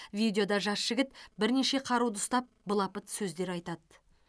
видеода жас жігіт бірнеше қаруды ұстап былапыт сөздер айтады